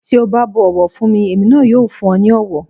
Tí o bá bu ọ̀wọ̀ fún mi, èmi náà yóò fún ọ ní ọ̀wọ̀.